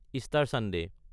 Easter Sunday